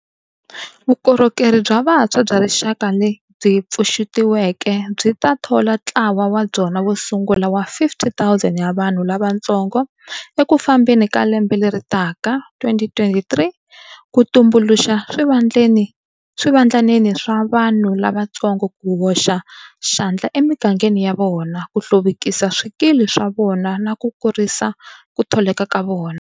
Vukorhokeri bya Vantshwa bya Rixaka lebyi pfuxetiweke byi ta thola ntlawa wa byona wo sungula wa 50 000 ya vanhu lavantsongo eku fambeni ka lembe leri taka [2023], ku tumbuluxa swivandlanene swa vanhu lavantsongo ku hoxa xandla emigangeni ya vona, ku hluvukisa swikili swa vona na ku kurisa ku tholeka ka vona.